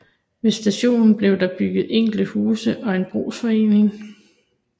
Ved stationen blev der bygget enkelte huse og en brugsforening